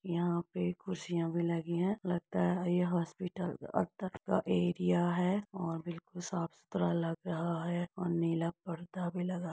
यहा पे कुर्सियां भी लगी है लगता है ये हॉस्पिटल एरिया है और बिल्कुल साफ सुथरा लग रहा है और नीला पर्दा भी लगा --